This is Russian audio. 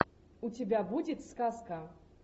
у тебя будет сказка